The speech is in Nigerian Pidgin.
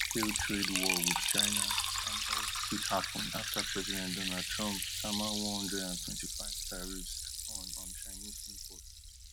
fullscale trade war wit china and us fit hapun afta president donald trump sama one hundred and twenty-five tariffs on on chinese imports